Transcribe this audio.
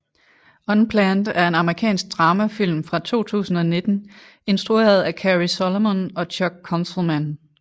Unplanned er en amerikansk dramafilm fra 2019 instrueret af Cary Solomon og Chuck Konzelman